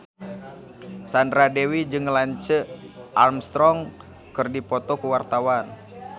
Sandra Dewi jeung Lance Armstrong keur dipoto ku wartawan